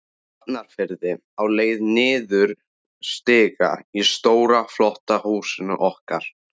Hafnarfirði, á leið niður stiga í stóra, flotta húsinu okkar.